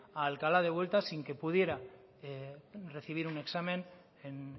a alcalá de vuelta sin que pudiera recibir un examen en